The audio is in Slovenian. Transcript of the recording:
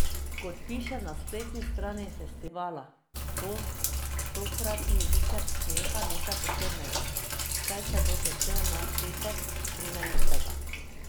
Kot piše na spletni strani festivala, bo tokratni vikend smeha nekaj posebnega, saj se bo začel na petek, trinajstega.